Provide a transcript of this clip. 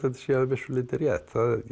sé að vissu leyti rétt